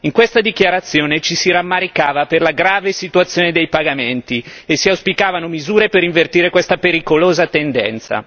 In questa dichiarazione ci si rammaricava per la grave situazione dei pagamenti e si auspicavano misure per invertire questa pericolosa tendenza.